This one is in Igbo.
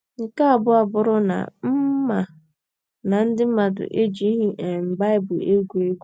Nke abụọ abụrụ na m ma na ndị mmadụ ejighị um Baịbụl egwu egwu.